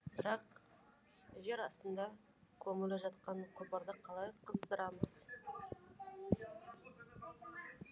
бірақ жер астында көмулі жатқан құбырды қалай қыздырамыз